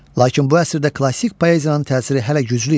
Lakin bu əsrdə klassik poeziyanın təsiri hələ güclü idi.